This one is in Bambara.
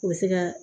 U bɛ se ka